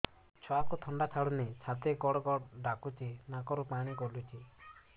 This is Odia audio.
ଛୁଆକୁ ଥଣ୍ଡା ଛାଡୁନି ଛାତି ଗଡ୍ ଗଡ୍ ଡାକୁଚି ନାକରୁ ପାଣି ଗଳୁଚି